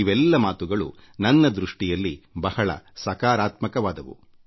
ಇವೆಲ್ಲ ಮಾತುಗಳು ನನ್ನ ದೃಷ್ಟಿಯಲ್ಲಿ ಬಹಳ ಸಕಾರಾತ್ಮಕವಾದವು